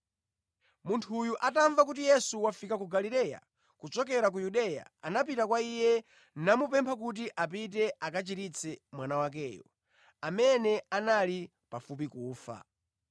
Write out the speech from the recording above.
Munthu uyu atamva kuti Yesu wafika ku Galileya kuchokera ku Yudeya, anapita kwa Iye, namupempha kuti apite akachiritse mwana wakeyo, amene anali pafupi kufa.